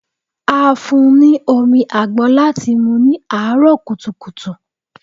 A fún n ní omi àgbọn láti mú ní àárọ̀ kùtùkùtù.